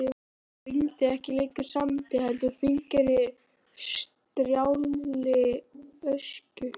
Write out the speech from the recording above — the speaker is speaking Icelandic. Það rigndi ekki lengur sandi heldur fíngerðri strjálli ösku.